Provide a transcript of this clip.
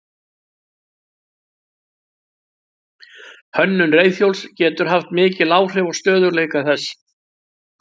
Hönnun reiðhjóls getur haft mikil áhrif á stöðugleika þess.